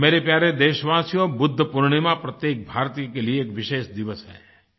मेरे प्यारे देशवासियो बुद्ध पूर्णिमा प्रत्येक भारतीय के लिए विशेष दिवस है